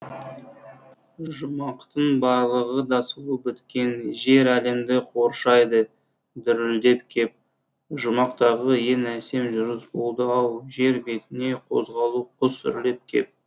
жұмақтың барлығы да сұлу біткен жер әлемді қоршайды дүрілдеп кеп жұмақтағы ең әсем жүріс болды ау жер бетіне қозғалу құс үрлеп кеп